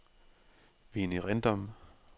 Vinnie Rindom